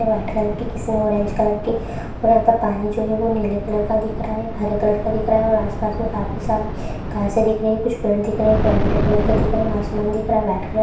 White colour की किसी ने ऑरेंज कलर की और यहां पर पानी जो है नीले कलर का दिख रहा है हरे कलर का दिख रहा और आस-पास मे काफी सारी घासे दिख रही है कुछ पेड़ दिख रहे है पेड़ हरे कलर के दिख रहे है आसमन व्हाइट कलर ।